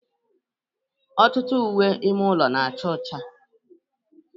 Ọtụtụ uwe ime ụlọ na-acha ọcha.